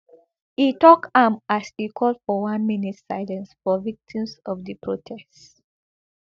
e tok am as e call for one minute silence for victims of di protest